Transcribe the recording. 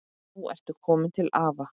Nú ertu komin til afa.